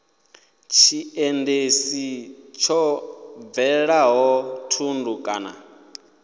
tshiendisi tsho hwalaho thundu kana